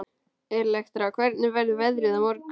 Elektra, hvernig verður veðrið á morgun?